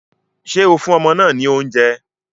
Ṣé o fún ọmọ náà ní oúnjẹ?